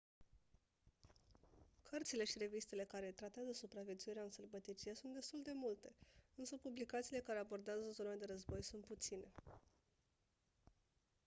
cărțile și revistele care tratează supraviețuirea în sălbăticie sunt destul de multe însă publicațiile care abordează zone de război sunt puține